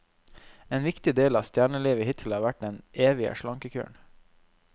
En viktig del av stjernelivet hittil har vært den evige slankekuren.